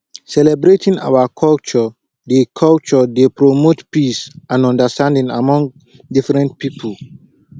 celebrating our culture dey culture dey promote peace and understanding among different pipo